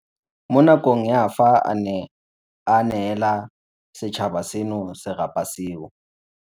mo nakong ya fa a ne a neela setšhaba seno serapa seo.